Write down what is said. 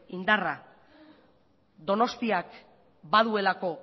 indarra donostiak baduelako